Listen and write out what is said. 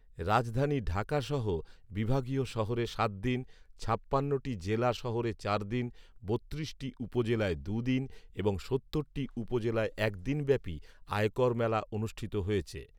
রাজধানী ঢাকাসহ বিভাগীয় শহরে সাত দিন, ছাপ্পান্নটি জেলা শহরে চার দিন, বত্রিশটি উপজেলায় দুই দিন এবং সত্তরটি উপজেলায় এক দিনব্যাপী আয়কর মেলা অনুষ্ঠিত হয়েছে